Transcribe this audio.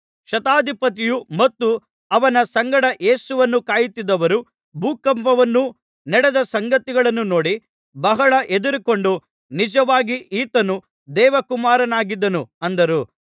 ಶತಾಧಿಪತಿಯು ಮತ್ತು ಅವನ ಸಂಗಡ ಯೇಸುವನ್ನು ಕಾಯುತ್ತಿದ್ದವರು ಭೂಕಂಪವನ್ನೂ ನಡೆದ ಸಂಗತಿಗಳನ್ನೂ ನೋಡಿ ಬಹಳ ಹೆದರಿಕೊಂಡು ನಿಜವಾಗಿ ಈತನು ದೇವಕುಮಾರನಾಗಿದ್ದನು ಅಂದರು